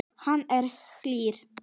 Hann er hlýr.